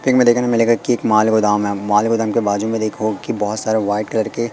pick में देखने मिलेगा कि एक माल गोदाम है माल गोदाम के बाजु में देखो कि बहुत सारे वाइट कलर के--